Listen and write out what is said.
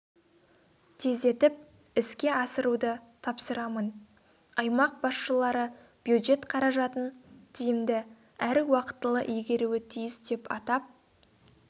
тездетіп іске асыруды тапсырамын аймақ басшылары бюджет қаражатын тиімді әрі уақытылы игеруі тиіс деп атап